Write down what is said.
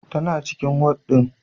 Taba cikin wad ɗin.